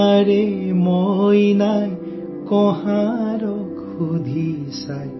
हमारी गुड़िया ने कुम्हार से पूछा